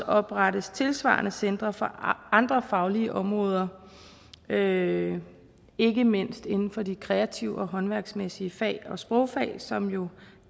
oprettes tilsvarende centre for andre faglige områder ikke ikke mindst inden for de kreative og håndværksmæssige fag og sprogfag som jo